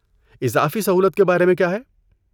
اضافی سہولت کے بارے میں کیا ہے؟